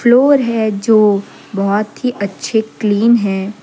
Floor हे जो बहोत ही अच्छे क्लीन है।